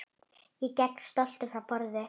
Ég geng stoltur frá borði.